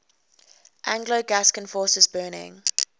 anglo gascon forces burning